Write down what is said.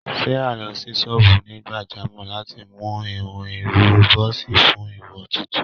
Sárà lọ sí ṣọ́ọ́bù onígbàjámọ̀ láti mú ìhun irun bọ́ọ́sì fún ìwò tuntun